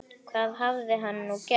Hvað hafði hann nú gert?